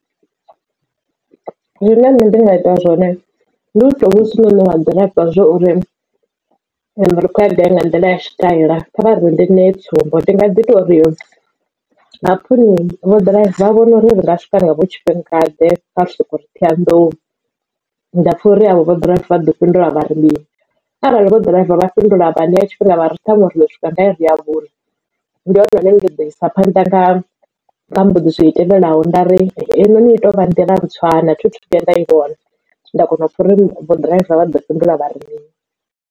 Zwine nṋe ndi nga ita zwone ndi u to vhudzisa hoyu noni wa ḓirava zwori ri khou ya gai nga nḓila ya tshitaila kha vha ri ndi ṋeye tsumbo. Ndi nga ḓi to ri hapfi vhoḓiraiva vha vhona uri ri nga swika nga vho tshifhingaḓe kha ri soko uri Ṱhohoyanḓou ndapfa uri avho vho ḓiraiva vhaḓo fhindula vhari mini. Arali vho ḓiraiva vha fhindula vha ṋea tshifhinga vhari ṱhanwe riḓo swika nga iri ya vhuṋa ndi hone hune nda ḓi isa phanḓa nga mbudziso i tevhelaho nda ri heinoni ito vha nḓila ntswa na thi thu vhuya nda i vhona nda kona u pfha uri vho ḓiraiva vha ḓo fhindula vhari mini.